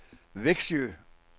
Växjö